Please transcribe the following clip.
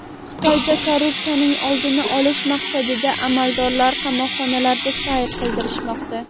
Xitoyda korrupsiyaning oldini olish maqsadida amaldorlarni qamoqxonalarda sayr qildirishmoqda.